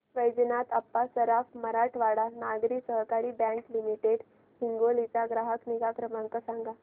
वैजनाथ अप्पा सराफ मराठवाडा नागरी सहकारी bank limited Hingoli चा ग्राहक निगा क्रमांक सांगा